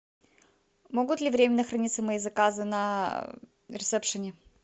могут ли временно хранится мои заказы на ресепшене